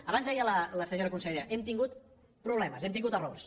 abans deia la senyora consellera hem tingut problemes hem tingut errors